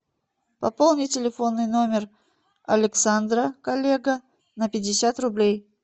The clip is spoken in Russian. пополни телефонный номер александра коллега на пятьдесят рублей